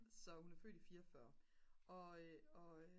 så hun er født i 44 og